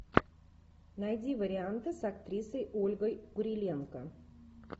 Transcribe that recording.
найди варианты с актрисой ольгой куриленко